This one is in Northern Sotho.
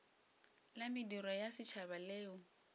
la mediro ya setšhaba leo